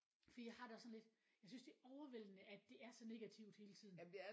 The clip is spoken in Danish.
Fordi jeg har det også sådan lidt jeg synes det er overvældende at det er så negativt hele tiden